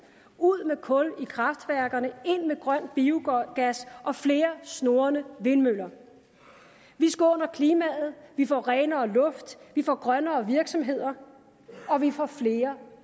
ud med kul i kraftværkerne ind med grøn biogas og flere snurrende vindmøller vi skåner klimaet vi får renere luft vi får grønnere virksomheder og vi får flere